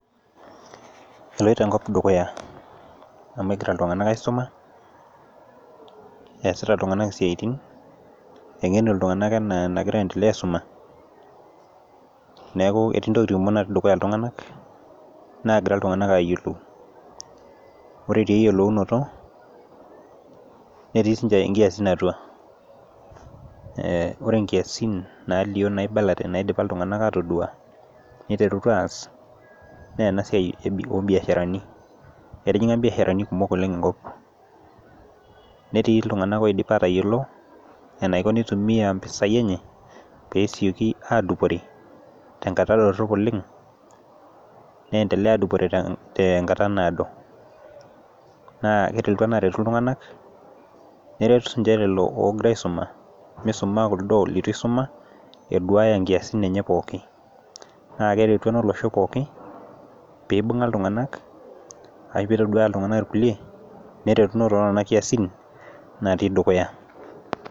Eloito enkop dukuya amu egira iltunganak aisuma, eesita iltunganak isiatin. engenu iltunganak anaa enagora aendelea aisuma, neeku etii ntokitin kumok natii dukuya iltunganak naagira iltunganak aayiolou. ore taa eyiolounoto, netii sii ninche nkiasin atua. ore nkiasin nalip naibala naidipa iltunganak aatodua .niterutua aas naa ena siai e oobiasharani. etijinga biashara lni kumok oleng enkop netii iltunganak oidipa aatayiolo enaiko enitumia mpisai enye pee esiooki aadupore. tenkata dorop oleng. neendelea aadupore te nkata naado. naa ore enaret iltunganak. eret sii ninche lelo oogira aisuma. misuma kuldo leitu isuma eduaaya nkiasin enye pooki. naa kereti ena olosho pooki pee ibunga iltunganak ashu pee itodouaya iltunganak irkulie neretuno too nena kiasin natii dukuya.